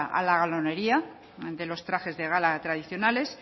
a la galonearía de los trajes de gala tradicionales